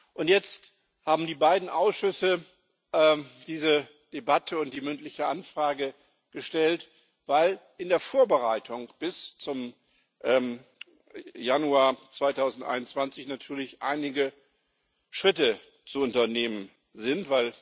Und jetzt haben die beiden Ausschüsse diese Debatte und die Anfrage zur mündlichem Beantwortung gestellt, weil in der Vorbereitung bis zum Januar 2021 natürlich einige Schritte zu unternehmen sind.